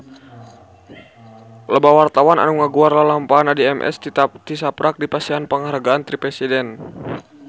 Loba wartawan anu ngaguar lalampahan Addie MS tisaprak dipasihan panghargaan ti Presiden